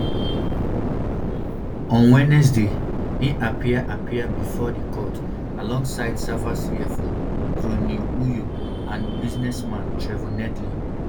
on wednesday im appear appear bifor di court alongside safa cfo gronie hluyo and businessman trevor neethling